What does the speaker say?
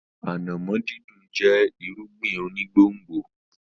Ànàmọ́ dídùn jẹ́ irúgbìn onígbòǹgbò.